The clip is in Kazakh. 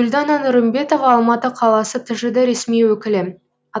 гүлдана нұрымбетова алматы қаласы тжд ресми өкілі